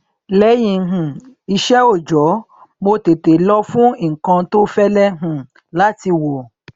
lẹyìn um iṣẹ òòjọ mo tètè lọ fún nnkan tó fẹlẹ um láti wọ